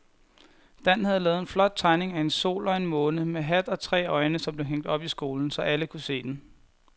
Dan havde lavet en flot tegning af en sol og en måne med hat og tre øjne, som blev hængt op i skolen, så alle kunne se den.